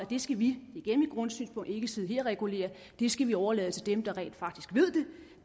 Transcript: det skal vi ikke sidde her og regulere det skal vi overlade til dem der rent faktisk ved